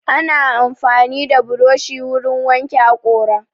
Ana amfani da buroshi wurin wanke haƙora